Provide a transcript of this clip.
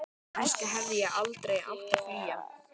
Kannski hefði ég aldrei átt að flýja.